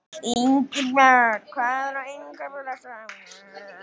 Ingibjörn, hvað er á innkaupalistanum mínum?